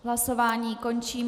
Hlasování končím.